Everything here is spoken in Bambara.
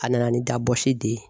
A nana ni da basi de ye.